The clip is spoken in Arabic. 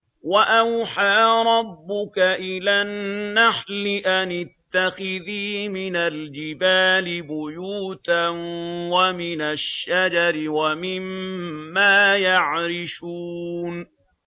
وَأَوْحَىٰ رَبُّكَ إِلَى النَّحْلِ أَنِ اتَّخِذِي مِنَ الْجِبَالِ بُيُوتًا وَمِنَ الشَّجَرِ وَمِمَّا يَعْرِشُونَ